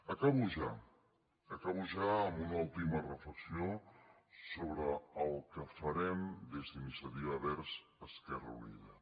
acabo ja acabo ja amb una última reflexió sobre el que farem des d’iniciativa verds esquerra unida